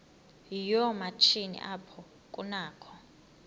yoomatshini apho kunakho